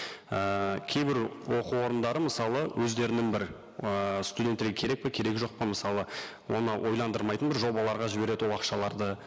ііі кейбір оқу орындары мысалы өздерінің бір ыыы студенттерге керек пе керегі жоқ па мысалы оны ойландырмайтын бір жобаларға жібереді ол ақшаларды